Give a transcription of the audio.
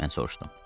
Mən soruşdum.